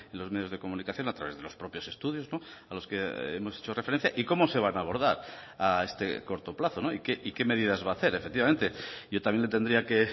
los medios de comunicación a través de los propios estudios a los que hemos hecho referencia y cómo se van a abordar a este corto plazo y qué medidas va a hacer efectivamente yo también le tendría que